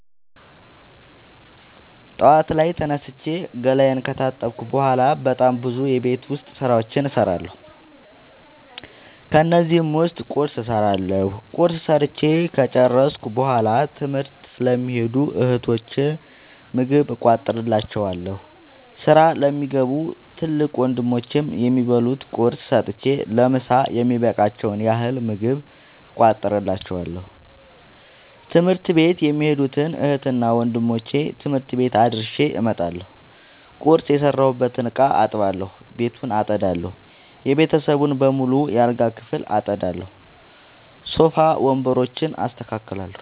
ጠዋት ላይ ተነስቼ ገላየን ከታጠብኩ በሗላ በጣም ብዙ የቤት ዉስጥ ስራዎችን እሠራለሁ። ከነዚህም ዉስጥ ቁርስ እሠራለሁ። ቁርስ ሠርቸ ከጨረሥኩ በሗላ ትምህርት ለሚኸዱ እህቶቸ ምግብ እቋጥርላቸዋለሁ። ስራ ለሚገቡ ትልቅ ወንድሞቼም የሚበሉት ቁርስ ሰጥቸ ለምሣ የሚበቃቸዉን ያህል ምግብ እቋጥርላቸዋለሁ። ትምህርት ቤት የሚኸዱትን እህትና ወንድሞቼ ትምህርት ቤት አድርሼ እመጣለሁ። ቁርስ የሰራሁበትን እቃ አጥባለሁ። ቤቱን አጠዳለሁ። የቤተሰቡን በሙሉ የአልጋ ክፍል አጠዳለሁ። ሶፋ ወንበሮችን አስተካክላለሁ።